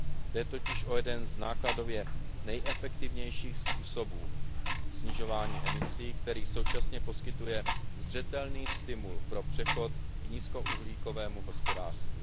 Jde totiž o jeden z nákladově nejefektivnějších způsobů snižování emisí, který současně poskytuje zřetelný stimul pro přechod k nízkouhlíkovému hospodářství.